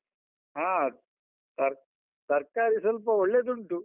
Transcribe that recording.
ಹಾ ತರ್~ ತರ್ಕಾರಿ ಸ್ವಲ್ಪ ಒಳ್ಳೆದುಂಟು.